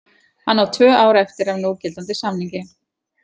Hann á tvö ár eftir af núgildandi samningi.